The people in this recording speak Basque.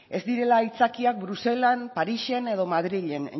ez direla aitzakia bruselan parisen edo madrilen